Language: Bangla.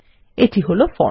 এই হল ফর্ম